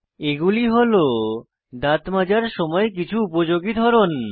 এগুলি হল দাঁত মাজার সময় কিছু উপযোগী ধরন